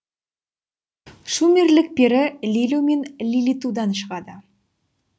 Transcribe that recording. шумерлік пері лилу мен лилитудан шығады